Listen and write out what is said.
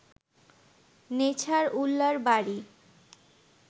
নেছারউল্লাহর বাড়ি